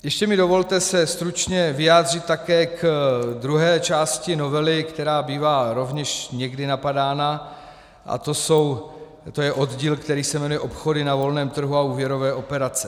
Ještě mi dovolte se stručně vyjádřit také k druhé části novely, která bývá rovněž někdy napadána, a to je oddíl, který se jmenuje Obchody na volném trhu a úvěrové operace.